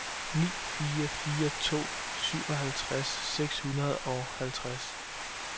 ni fire fire to syvoghalvtreds seks hundrede og halvtreds